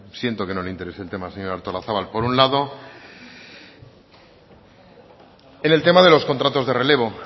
siento que no le interese el tema señora artolazabal por un lado en el tema de los contratos de relevo